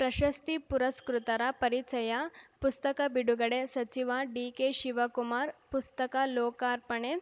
ಪ್ರಶಸ್ತಿ ಪುರಸ್ಕೃತರ ಪರಿಚಯ ಪುಸ್ತಕ ಬಿಡುಗಡೆ ಸಚಿವ ಡಿಕೆಶಿವಕುಮಾರ್‌ ಪುಸ್ತಕ ಲೋಕಾರ್ಪಣೆ